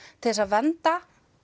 til þess að vernda